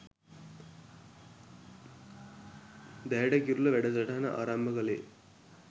දැයට කිරුළ වැඩසටහන ආරම්භ කළේ.